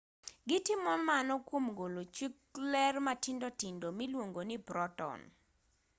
gitimo mano kwom golo chuk ler matindo tindo miluongo ni proton